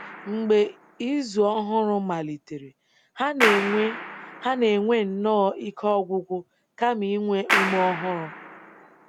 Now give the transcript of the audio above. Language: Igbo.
Mgbe izu ọhụrụ malitere, ha na-enwe ha na-enwe nnọọ ike ọgwụgwụ kama inwe ume ọhụrụ.